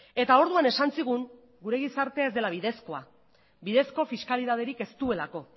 eta orduan esan zigun gure gizartea ez dela bidezkoa bidezko fiskalitaterik ez duelako